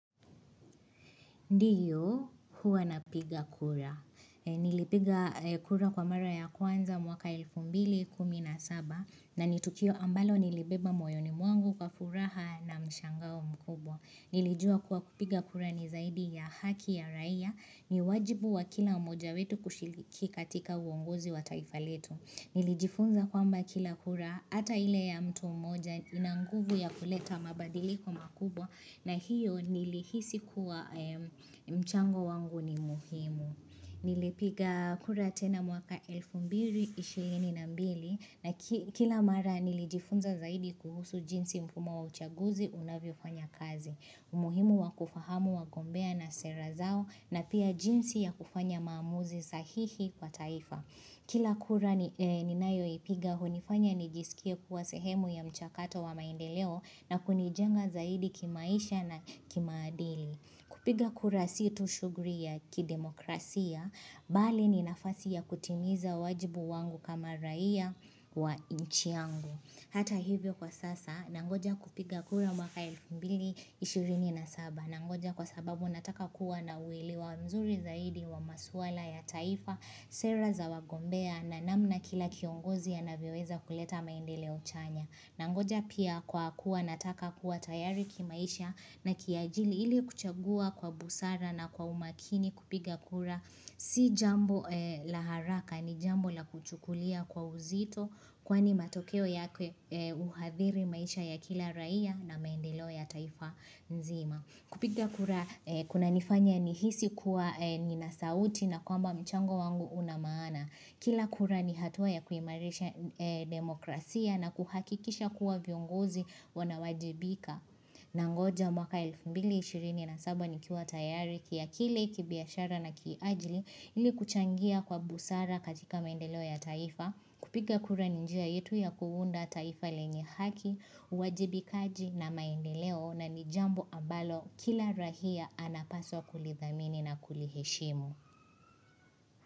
Ndiyo huwa napiga kura. Nilipiga kura kwa mara ya kwanza mwaka elfu mbili kumi na saba na ni tukio ambalo nilibeba moyoni mwangu kwa furaha na mshangao mkubwa. Nilijua kuwa kupiga kura ni zaidi ya haki ya raia. Ni wajibu wa kila moja wetu kushiriki katika uongozi wa taifa letu. Nilijifunza kwamba kila kura ata ile ya mtu mmoja ina nguvu ya kuleta mabadiliko makubwa na hiyo nilihisi kuwa mchango wangu ni muhimu. Nilipiga kura tena mwaka 1222 na kila mara nilijifunza zaidi kuhusu jinsi mfumo wa uchaguzi unavyofanya kazi. Umuhimu wa kufahamu wagombea na sera zao na pia jinsi ya kufanya maamuzi sahihi kwa taifa. Kila kura ninayoipiga, hunifanya nijisikie kuwa sehemu ya mchakato wa maendeleo na kunijenga zaidi kimaisha na kimaadili. Kupiga kura si tu shughuli ya kidemokrasia, bali ni nafasi ya kutimiza wajibu wangu kama raia wa nchi yangu. Hata hivyo kwa sasa, nangoja kupiga kura mwaka 1227. Nangoja kwa sababu nataka kuwa na uelewa mzuri zaidi wa maswala ya taifa, sera za wagombea na namna kila kiongozi anavyoweza kuleta maendeleo chanya. Nangoja pia kwa kuwa nataka kuwa tayari kimaisha na kiajili ili kuchagua kwa busara na kwa umakini kupiga kura si jambo la haraka ni jambo la kuchukulia kwa uzito kwani matokeo yake huadhiri maisha ya kila raia na maendeleo ya taifa nzima. Kupiga kura kunanifanya nihisi kuwa nina sauti na kwamba mchango wangu una maana. Kila kura ni hatua ya kuimarisha demokrasia na kuhakikisha kuwa viongozi wanawajibika. Nangoja mwaka 1227 nikiwa tayari kiakili kibiashara na kiajili ili kuchangia kwa busara katika maendeleo ya taifa, kupiga kura ni njia yetu ya kuunda taifa lenye haki, wajibikaji na maendeleo na ni jambo ambalo kila raia anapaswa kulidhamini na kuliheshimu.